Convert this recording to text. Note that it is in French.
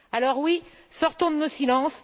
Alors, oui, sortons de nos silences!